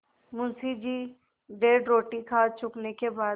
मुंशी जी डेढ़ रोटी खा चुकने के बाद